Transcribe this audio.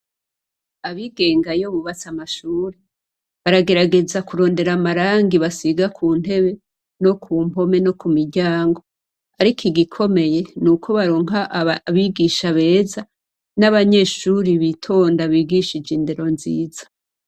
Abigeng’iyo bubats’amashure ,baragerageza kuraba amarangi basiga kuntebe no ku mpome no kumiryango ariko igikomeye nuko baronka abigisha beza, n’abanyeshure bitonda bigishije indero nziza.